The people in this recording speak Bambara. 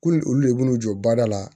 Ko ni olu de b'u jɔ baarada la